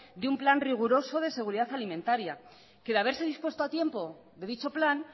de un plan riguroso de seguridad alimentaria que de haberse dispuesto a tiempo de dicho plan